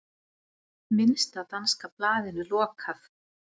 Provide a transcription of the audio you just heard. Minnsta danska blaðinu lokað